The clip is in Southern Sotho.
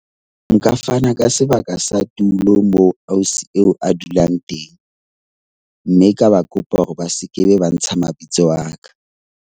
Nka fana ka sebaka sa tulo moo ausi eo a dulang teng mme ka ba kopa hore ba skebe ba ntsha mabitso a ka.